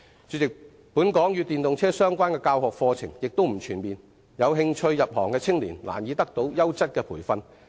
主席，本港與電動車相關的教學課程並不全面，有興趣入行的青年難以得到優質的培訓。